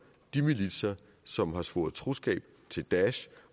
de militser som har svoret troskab til daesh